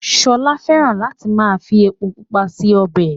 Ṣọlá fẹ́ràn láti máa fi epo pupa ṣe ọbẹ̀